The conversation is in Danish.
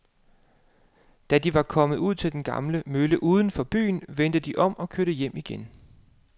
Da de var kommet ud til den gamle mølle uden for byen, vendte de om og kørte hjem igen.